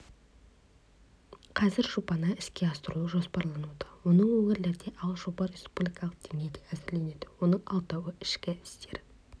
қазір жобаны іске асыру жоспарлануда оның өңірлерде ал жоба республикалық деңгейде әзірленуде оның алтауы ішкі істер